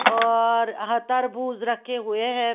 औररर ह तरबूज रखे हुए हैं।